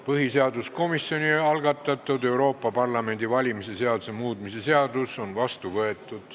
Põhiseaduskomisjoni algatatud Euroopa Parlamendi valimise seaduse muutmise seadus on vastu võetud.